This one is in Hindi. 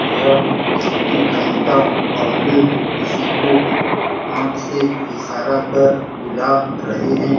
यह धोती खलता पहने किसी को हाथ से इशारा कट बुला रहे है।